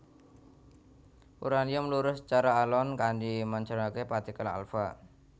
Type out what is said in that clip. Uraanium meluruh sacara alon kanti mancaraké partikel alfa